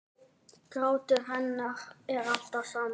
Grátur hennar er alltaf samur.